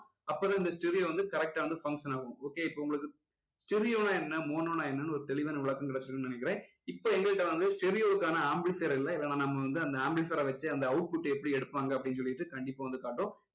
அப்போதான் இந்த stereo வந்து correct டா வந்து function ஆகும் okay இப்ப உங்களுக்கு stereo னா என்ன mono னா என்னன்னு ஒரு தெளிவான விளக்கம் கிடைச்சுருக்கும்னு நினைக்கிறேன் இப்போ எங்க கிட்ட வந்து stereo வுக்கான amplifier இல்ல இதை நம்ம வந்து amplifier அ வச்சே அந்த output எப்படி எடுப்பாங்க அப்படின்னு சொல்லிட்டு கண்டிப்பா வந்து காட்டுறோம்